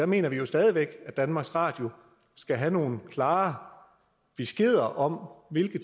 mener vi jo stadig væk at danmarks radio skal have nogle klare beskeder om hvilke